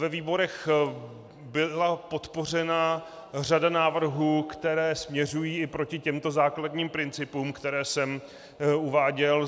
Ve výborech byla podpořena řada návrhů, které směřují i proti těmto základním principům, které jsem uváděl.